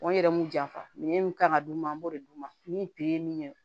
n yɛrɛ m'u janfa minɛ min kan ka d'u ma an b'o de d'u ma ni pere ye min ye